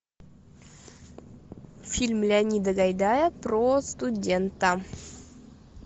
фильм леонида гайдая про студента